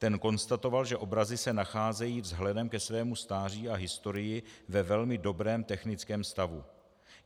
Ten konstatoval, že obrazy se nacházejí vzhledem ke svému stáří a historii ve velmi dobrém technickém stavu.